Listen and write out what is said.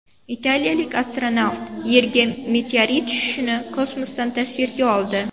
Italiyalik astronavt Yerga meteorit tushishini kosmosdan tasvirga oldi .